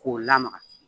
K'o lamaga